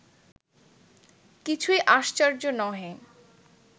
কিছুই আশ্চর্য্য নহে